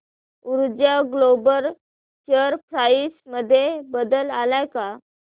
ऊर्जा global share price मध्ये बदल आलाय का